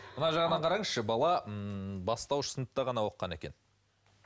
мына жағынан қараңызшы бала м бастауыш сыныпта ғана оқыған екен